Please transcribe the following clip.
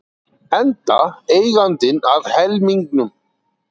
Enda eigandinn að helmingnum.